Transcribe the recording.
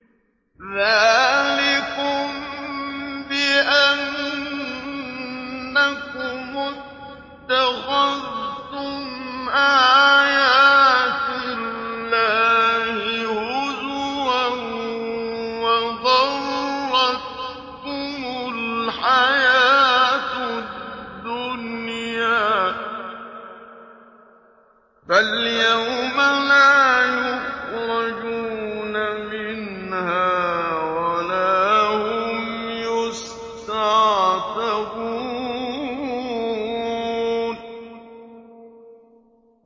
ذَٰلِكُم بِأَنَّكُمُ اتَّخَذْتُمْ آيَاتِ اللَّهِ هُزُوًا وَغَرَّتْكُمُ الْحَيَاةُ الدُّنْيَا ۚ فَالْيَوْمَ لَا يُخْرَجُونَ مِنْهَا وَلَا هُمْ يُسْتَعْتَبُونَ